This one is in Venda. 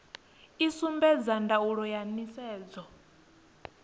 i sumbedza ndaulo ya nisedzo